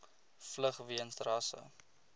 vlug weens rasse